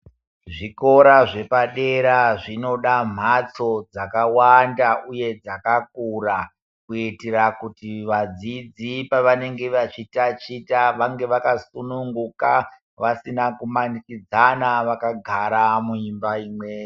Zvikora zvepadera zvinoda mbatso dzakawanda uye dzakakura kuitira kuti vadzidzi vanenge vachitaticha vange vakasununguka vasina kumanikidzana vakagara muimba Imweni.